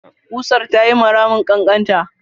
ƙusar ta yiwa ramin ƙanƙanta.